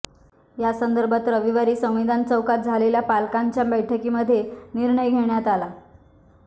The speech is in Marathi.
यासंदर्भात रविवारी संविधान चौकात झालेल्या पालकांच्या बैठकीमध्ये निर्णय घेण्यात आला